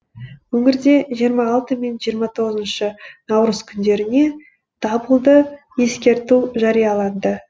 өңірде жиырма алты мен жиырма тоғызыншы наурыз күндеріне дабылды ескерту жарияланды